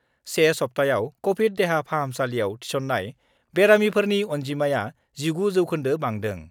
1 सप्ताहआव कभिड देहा फाहामसालिआव थिसन्नाय बेरामिफोरनि अन्जिमायाव 19 जौखोन्दो बांदों।